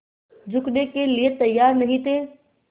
झुकने के लिए तैयार नहीं थे